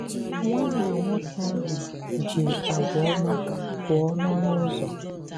Nwànnà nwoke ahụ̀ jì àgwà òmá pụọ n'ọnụ ụzọ.